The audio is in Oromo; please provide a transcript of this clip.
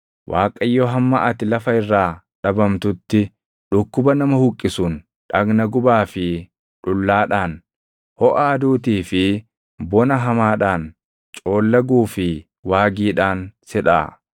Waaqayyo hamma ati lafa irraa dhabamtutti, dhukkuba nama huqqisuun, dhagna gubaa fi dhullaadhaan, hoʼa aduutii fi bona hamaadhaan, coollaguu fi waagiidhaan si dhaʼa.